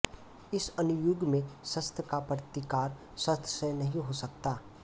इस अणुयुग में शस्त्र का प्रतिकार शस्त्र से नहीं हो सकता